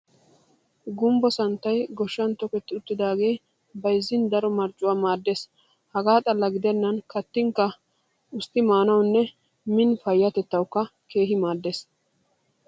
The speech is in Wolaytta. Gumbbo santtay goshshan tokerti uttidaagee bayizzin daro marccuwaa maaddes. Hagaa xalla gidennan kattinkka ustti maanawunne min nu payyatettawu keehi maaddes.